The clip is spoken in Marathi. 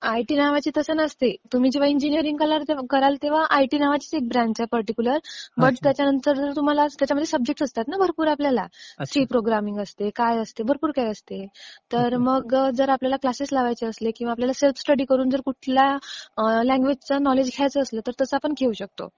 आयटी नावाची असं नसते, तुम्ही जेंव्हा इंजिनियरिंग कराल, तेंव्हा आयटी नावाचीच एक ब्रँच आहे पर्टिक्युलर. मग त्याच्यामध्ये सब्जेक्टस असतात ना भरपूर आपल्याला, सी प्रोग्रामिंग असते, काय असते, भरपूर काही असते. तर मग जर आपल्याला क्लासेस लावायचे असले किंवा आपल्याला सेल्फ स्टडी करून जर कुठला लँग्वेजचं नॉलेज घ्यायचं असलं तर तसं आपण घेऊ शकतो.